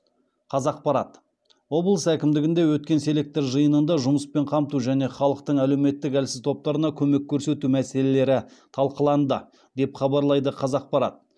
қазақпарат облыс әкімдігінде өткен селектор жиынында жұмыспен қамту және халықтың әлеуметтік әлсіз топтарына көмек көрсету мәселелері талқыланды деп хабарлайды қазақпарат